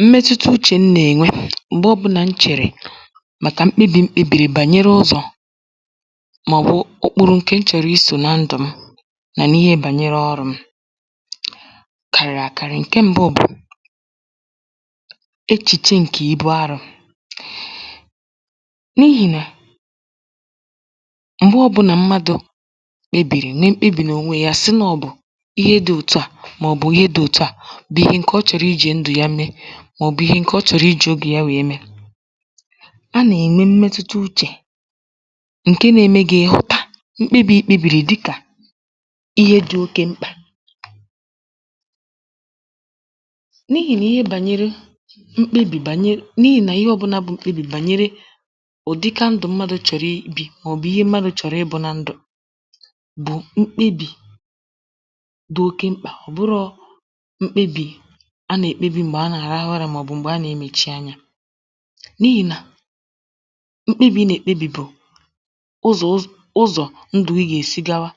mmetuta uchè m nà-ènwe m̀gbe ọ̄bụ̄nà m chèrè màkà mkpebì m kpēbìrì gbànyere ụzọ̀ màọ̀bụ̀ okporo ǹkè m chọ̀rọ̀ isò nà ndụ̀ m mà n’ihe gbànyere ọrụ̄ m̄ kàrị̀rị̀ àkarị ǹke m̄bụ̄ bụ̀ echìche ǹke ibu arụ̄ n’ihì nà m̀gbe ọ̄bụ̄nà mmadụ̄ kpebìrì mee mkpebì n’ònwe yā sị̀ nà ọ bụ̀ ihe dị̄ òtu à màọ̀bụ̀ ihe dị̄ òtu à bụ̀ ihe ǹke ọ chọ̀rọ̀ ijī ndụ̀ ya nwèe mee màọ̀bụ̀ ihe ǹkè ọ chọ̀rọ̀ ijī obì ya nwèe mee a nà-ènwe mmetuta uchè ǹke nā-ēmē gị̀ ị̀ hụta mkpebì i kpēbìrì dịkà ihe dị̄ oke mkpà n’ihì nà ihe gbànyere mkpebì gbànye n’ihì nà ihe ọ̄bụ̄nà bụ́ mkpebì gbànyere ụ̀dịka ndụ̀ mmadụ̀ chọ̀rọ̀ ibī màọ̀bụ̀ ihe mmadụ̄ chọ̀rọ̀ ịbụ̄ na ndụ̀ bụ̀ mkpebì dị oke mkpà ọ̀ bụrọ̄ mkpebì a nà-èkpebì m̀gbè a na-àrahụ ụrā màọ̀bụ̀ m̀gbè a nà-emèchi anyā n’ihì nà mkpebì ị nà-èkpebì bụ̀ ụ̀zọ ụz ụzọ̀ ndụ̀ gị gà-èsi gawa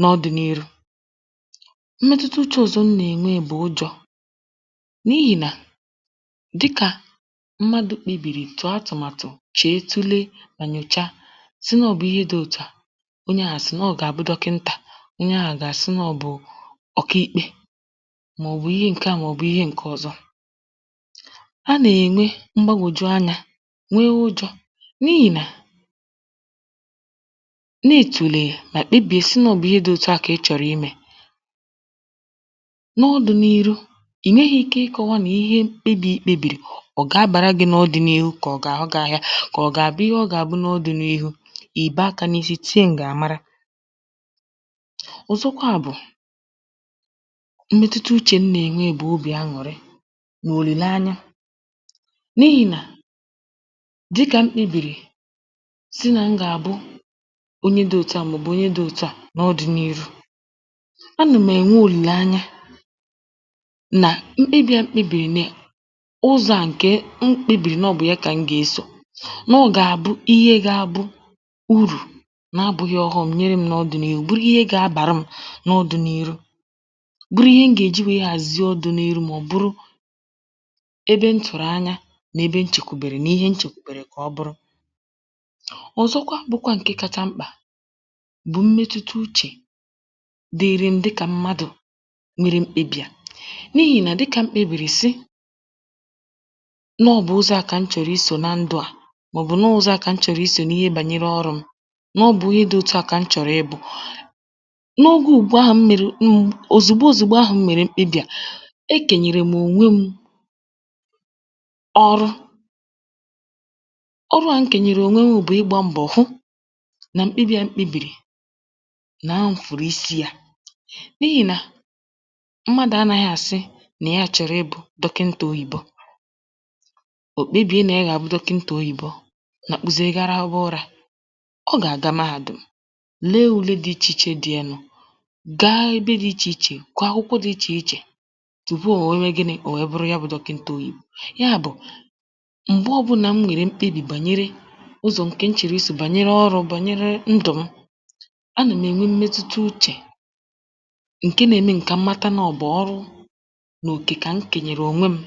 n’ọdị̄nīrū mmetuta uchē ọ̀zọ m nà-ènwe bụ̀ ụjọ̄ n’ihì nà dịkà mmadụ̄ kpebìrì tụ̀ọ atụ̀màtụ̀ chèe tule mà nyòcha sị na ọ̀ bụ̀ ihe dị̄ òtu à onye ahụ̀ sị̀ nà ọ gà-àbụ dọkịntà onye ahụ̀ gà-àsị nà ọ bụ̀ òkiīkpē màọ̀bụ̀ ihe ǹke à màọ̀bụ ihe ǹke ọ̄zọ̄ a nà-ènwe mgbagòju anyā nwe ụjọ̄ n’ihì nà na-ètùlè mà kpebìe sị nà ọ bụ̀ ihe dị̄ òtu à kà ị chọ̀rọ̀ imē n’ọdị̄nīrū ì nweghī ike ịkọ̄wā mà ihe mkpebì i kpēbìrì bụ̀ ọ gà-abàra gị̄ n’ọdị̄nīhū kà ọ̀ gà-àhụ gị̄ āhịā kà ọ̀ gà-àbụ ihe ọ gà-àbụ n’ọdị̄nīhū ì baa akā n’isi tie ǹgàmara ọ̀zọkwa bụ̀ mmetuta uchè m nà-ènwe bụ̀ obì añụ̀rị nà òlìle anya n’ihì nà dịkà m kpēbìrì sị nà m gà-àbụ onye dị̄ òtu à màọ̀bụ̀ onye dị̄ òtu à n’ọdị̄nīrū anụ̀ m̀ ènwe òlìle anya nà mkpebī à m kpēbìrì nè ụzọ̄ à ǹkè m kpēbìrì nà ọ bụ̀ ya kà m gà-esò nà ọ gà-àbụ ihe gā-ābụ̄ urù na-abụ̄ghị̄ ọ̀ghọm̄ nyere m̄ n’ọdị̄nīrū bụrụ ihe ga-abàra m̄ n’ọdị̄nīrū bụrụ ihe m gà-èji nwèe hàzie ọdị̄nīrū mụ̄ bụrụ ebe m tụ̀rụ̀ anya nà ebe m chèkwùbèrè nà ihe m chèkwùbèrè kà ọ bụrụ ọ̀zọkwa bụkwa ǹke kāchā mkpà bụ̀ mmetuta uchè dịrị m dịkà mmadụ̀ mere mkpebī à n’ihì nà dịkà m kpēbìrì sị̀ nà ọ bụ̀ ụzọ̄ à kà m chọ̀rọ̀ isò na ndụ̄ à màọ̀bụ̀ nà ọọ̄ ụzọ̄ à kà m chọ̀rọ̀ isò n’ihe gbànyere ọrụ̄ m̄ na ọ̀ bụ̀ ihe dị̄ òtu à kà m chọ̀rọ̀ ịbụ̄ n’ogē ùgbu ahụ̀ m mèrè m òzìgbo òzìgbo ahụ̀ m mèrè mkpebī à ekènyèrè m̀ ònwe m̄ ọrụ ọrụ à m kènyèrè ònwe m̄ bụ̀ ịgbā mbọ̀ hụ nàɔ mkpebī à m kpēbìrì nà m fụ̀rụ̀ isi yā n’ihì nà mmadụ̀ anāghị̄ àsị nà ya chọ̀rọ̀ ibụ̄ dọkịntà oyibo ò kpebìe nà ya gà-àbụ dọkịntà oyìbo nakpuzie ga rahụba ụrā ọ gà-àga mee àdụ̀ lee ùle dị̄ ichè ichē dị ya nụ̄ gaa ebe dị̄ ichè ichè gụọ akwụkwọ dị̄ ichè ichè tupu ò nwèe mee gịnị̄? ò nwèe bụrụ dọkịntà oyìbo m̀gbe ọ̄bụ̄nà m nwèrè mkpebì gbànyere ụzọ̀ ǹkè m chọ̀rọ̀ isò gbànyere ọrụ̄ m̄ gbànyere ndụ̀ m anà m̀ ènwe mmetuta uchè ǹke nā-ēmē m̀ kà m mata nà ọ bụ̀ ọrụ nà òkè kà m kènyèrè ònwe m̄